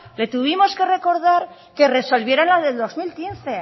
le tuvimos que recordar que resolvieran la del dos mil quince